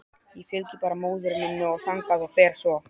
Ég fylgi bara móður minni þangað og fer svo.